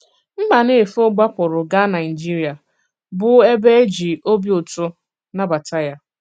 Mbànéfò gbàpụrụ̀ gaa Nàịjìrìà, bụ́ ebe e jì òbì ùtù nàbàtà ya.